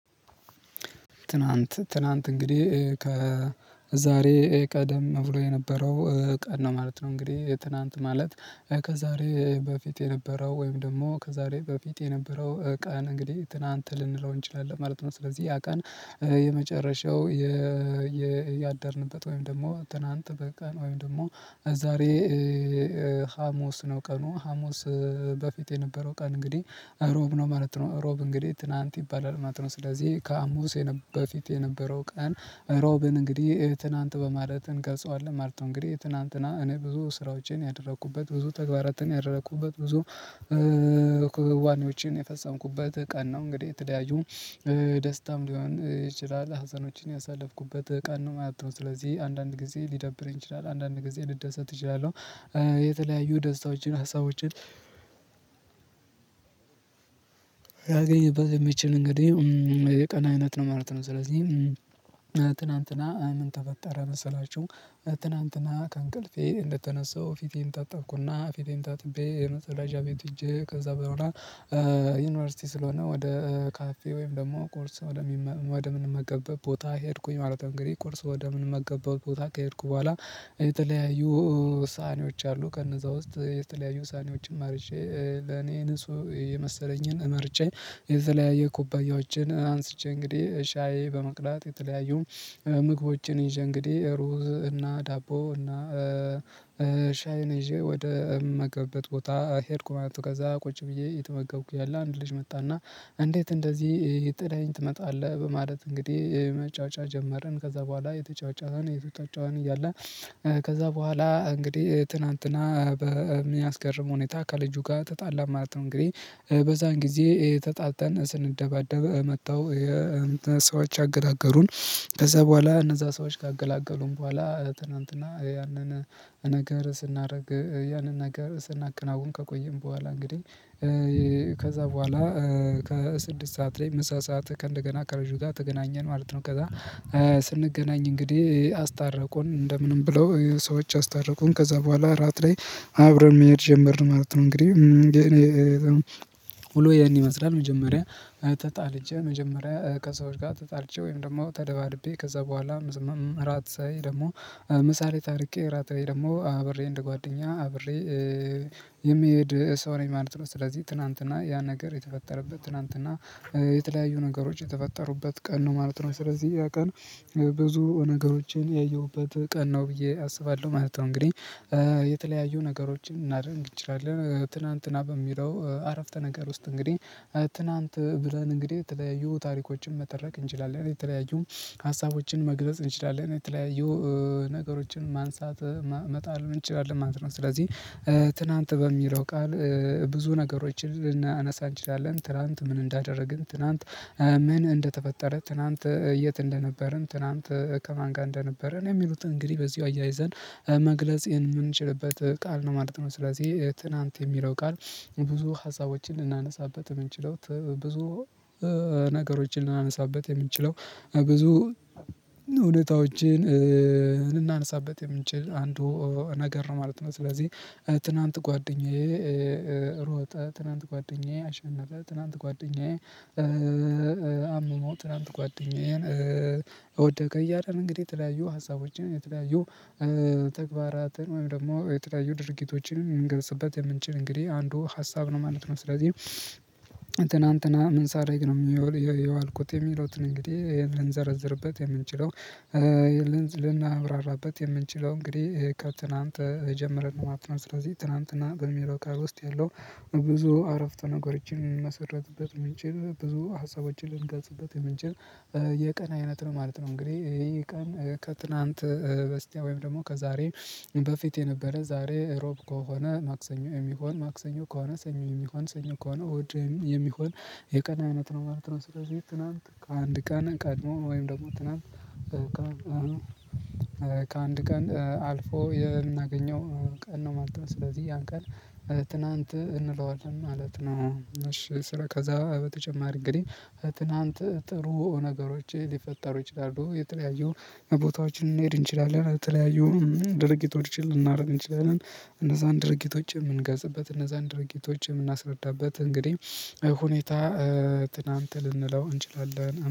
ትናንት ትናንት እንግዲህ ከዛሬ ቀደም ብሎ የነበረው ቀን ነው ማለት ነው እንግዲህ ትናንት ማለት ከዛሬ በፊት የነበረው ወይም ደግሞ ከዛሬ በፊት የነበረው ቀን እንግዲህ ትናንት ልንለው እንችላለን ማለት ነው። ስለዚህ ያ ቀን የመጨረሻው ያደርንበት ወይም ደግሞ ትናንት በቀን ወይም ደግሞ ዛሬ ሀሙስ ነው ቀኑ ሀሙስ በፊት የነበረው ቀን እንግዲህ እሮብ ነው ማለት ነው እሮብ እንግዲህ ትናንት ይባላል ማለት ነው። ስለዚህ ከሀሙስ በፊት የነበረው ቀን ሮብን እንግዲህ ትናንት በማለት እንገልጸዋለን ማለት ነው። እንግዲህ ትናንትና እኔ ብዙ ስራዎቼን ያደረኩበት ብዙ ተግባራትን ያደረኩበት ብዙ ክዋኔዎችን የፈጸምኩበት ቀን ነው። እንግዲህ የተለያዩ ደስታም ሊሆን ይችላል ሀዘኖችን ያሳለፍኩበት ቀን ነው ማለት ነው። ስለዚህ አንዳንድ ጊዜ ሊደብር ይችላል አንዳንድ ጊዜ ልደሰት እችላለሁ የተለያዩ ደስታዎችን ሀሳቦችን ሊያገኝበት የሚችል እንግዲህ የቀን አይነት ነው ማለት ነው። ስለዚህ ትናንትና ምን ተፈጠረ መሰላችሁ? ትናንትና ከእንቅልፌ እንደተነሳው ፊቴን ታጠብኩና ፊቴን ታጥቤ የመጸዳጃ ቤት ሂጄ ከዛ በኋላ ዩኒቨርሲቲ ስለሆነ ወደ ካፌ ወይም ደግሞ ቁርስ ወደ ምንመገበብ ቦታ ሄድኩኝ ማለት እንግዲህ። ቁርስ ወደ ምንመገብበት ቦታ ከሄድኩ በኋላ የተለያዩ ሳሀኒዎች አሉ ከነዛ ውስጥ የተለያዩ ሳህኒዎችን መርጬ ለኔ ንጹህ የመሰለኝን መርጬ የተለያየ ኩባያዎችን አንስቼ እንግዲህ ሻዪ በመቅዳት የተለያዩ ምግቦችን ይዤ እንግዲህ ሩዝ እና ዳቦ እና ሻይ ይዤ ወደ ምመገብበት ቦታ ሄድኩ። ማለት ከዛ ቁጭ ብዬ እየተመገብ እያለ አንድ ልጅ መጣና እንዴት እንደዚህ ጥለኸኝ ትመጣለህ በማለት እንግዲህ መጯጯህ ጀመርን ከዛ በኋላ እየተጯጯህን እየተጯጯህን እያለ ከዛ በኋላ እንግዲህ ትናንትና በሚያስገርም ሁኔታ ከልጁ ጋር ተጣላን ማለት ነው። እንግዲህ በዛን ጊዜ ተጣልተን ስንደባደብ መተው ሰዎች አገላገሉን ከዛ በኋላ እነዛ ሰዎች ካገላገሉን በኋላ ትናንትና ያንን ነገር ስናደርግ ያንን ነገር ስናከናውን ከቆየን በኋላ እንግዲህ ከዛ በኋላ ከስድስት ሰዓት ላይ ምሳ ሰዓት ከእንደገና ከልጁ ጋር ተገናኘን ማለት ነው። ከዛ ስንገናኝ እንግዲህ አስታረቁን እንደምንም ብለው ሰዎች አስታረቁን ከዛ በኋላ እራት ላይ አብረን መሄድ ጀመርን ማለት ነው። እንግዲህ ውሎዬ ይሄን ይመስላል። መጀመሪያ ተጣልቼ መጀመሪያ ከሰዎች ጋር ተጣልቼ ወይም ደግሞ ተደባድቤ ከዛ በኋላ ራት ላይ ደግሞ ምሳ ላይ ታርቄ ራት ላይ ደግሞ አብሬ እንደ ጓደኛ አብሬ የምሄድ ሰው ነኝ ማለት ነው። ስለዚህ ትናንትና ያ ነገር የተፈጠረበት ትናንትና የተለያዩ ነገሮች የተፈጠሩበት ቀን ነው ማለት ነው። ስለዚህ ያ ቀን ብዙ ነገሮችን ያየሁበት ቀን ነው ብዬ አስባለሁ ማለት ነው። እንግዲህ የተለያዩ ነገሮችን ልናደርግ እንችላለን ትናንትና በሚለው አረፍተ ነገር ውስጥ እንግዲህ ትናንት ብለን እንግዲህ የተለያዩ ታሪኮችን መተረክ እንችላለን የተለያዩ ሀሳቦችን መግለጽ እንችላለን የተለያዩ ነገሮችን ማንሳት መጣል እንችላለን ማለት ነው። ስለዚህ ትናንት በሚለው ቃል ብዙ ነገሮችን ልናነሳ እንችላለን ትላንት ምን እንዳደረግን ትላንት ምን እንደተፈጠረ ትላንት የት እንደነበርን ትናንት ከማን ጋር እንደነበርን የሚሉትን እንግዲህ በዚሁ አያይዘን መግለጽ የምንችልበት ቃል ነው ማለት ነው። ስለዚህ ትናንት የሚለው ቃል ብዙ ሀሳቦችን ልናነሳበት የምንችለው ብዙ ነገሮችን ልናነሳበት የምንችለው ብዙ ሁኔታ ዎችን ልናነሳበት የምንችል አንዱ ነገር ማለት ነው። ስለዚህ ትናንት ጓደኛዬ ሮጠ ትናንት ጓደኛዬ አሸነፈ ትላንት ጓደኛዬ አመመው ትላንት ጓደኛዬ ወደቀ እያልን እንግዲህ የተለያዩ ሀሳቦችን የተለያዩ ተግባራትን ወይም ደግሞ የተለያዩ ድርጊቶችን ልምንገልጽበት የምንችል እንግዲህ አንዱ ሀሳብ ነው ማለት ነው። ስለዚህ ትናንትና ምን ሳረግ ነው የዋልኩት የሚሉትን እንግዲህ ልንዘረዝርበት የምንችለው ልናብራራበት የምንችለው እንግዲህ ከትናንት ጀምረን ነው ማለት ነው። ስለዚህ ትናንትና በሚለው ውስጥ ያለው ብዙ አረፍተ ነገሮችን ሊመሰረትበት ምንችል ብዙ ሀሳቦችን ልንገልጽበት የምንችል የቀን አይነት ነው ማለት ነው። እንግዲህ ይሄ ቀን ከትናንት በስቲያ ወይም ደግሞ ከዛሬ በፊት የነበረ ዛሬ ሮብ ከሆነ ማክሰኞ የሚሆን ማክሰኞ ከሆነ ሰኞ የሚሆን ሰኞ ከሆነ እሁድ የሚሆን የቀን አይነት ነው ማለት ነው። ስለዚህ ትናንት ከአንድ ቀን ቀድሞ ወይም ደግሞ ትናንት ከአንድ ቀን አልፎ የምናገኘው ቀን ነው ማለት ነው። ስለዚህ ያን ቀን ትናንት እንለዋለን ማለት ነው። እሺ ስለ ከዛ በተጨማሪ እንግዲህ ትናንት ጥሩ ነገሮች ሊፈጠሩ ይችላሉ። የተለያዩ ቦታዎችን ልንሄድ እንችላለን የተለያዩ ድርጊቶችን ልናደርግ እንችላለን እነዛን ድርጊቶችን የምንገልጽበት እነዛን ድርጊቶች የምናስረዳበት እንግዲህ ሁኔታ ትናንት ልንለው እንችላለን።